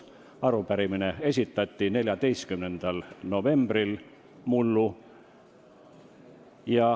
Arupärimine esitati mullu 14. novembril.